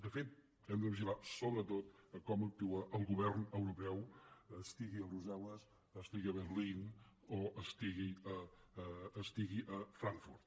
de fet hem de vigilar sobretot com actua el govern europeu estigui a brussel·les estigui a berlín o estigui a frankfurt